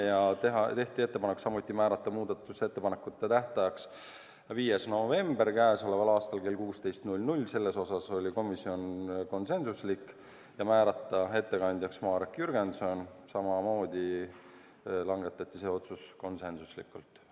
Samuti tehti ettepanek määrata muudatusettepanekute esitamise tähtajaks k.a 5. november kell 16 – selles osas oli komisjon konsensuslik – ja määrata ettekandjaks Marek Jürgenson – seegi otsus langetati konsensuslikult.